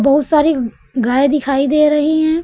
बहुत सारी गाय दिखाई दे रही हैं।